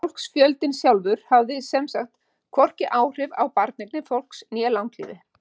Fólksfjöldinn sjálfur hafi sem sagt hvorki áhrif á barneignir fólks né langlífi.